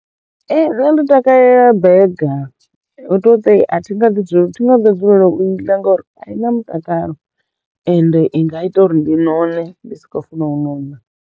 Ee nṋe ndo takalela bega hu to ṱai a thi nga ḓi dzulelo thi nga ḓo dzulelo u iḽa ngori a i na mutakalo ende i nga ita uri ndi none ndi si khou funa u nona.